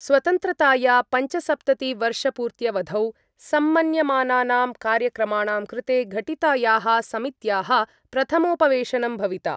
स्वतन्त्रताया पञ्चसप्ततिवर्षपूर्त्यवधौ सम्मन्यमानानां कार्यक्रमाणां कृते घटितायाः समित्याः प्रथमोपवेशनम् भविता।